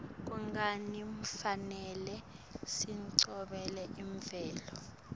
kungani kufanele sigcine imvelo